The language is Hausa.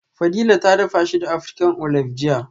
Fadila ta dafa shi da African Olive jiya